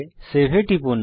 save এ টিপুন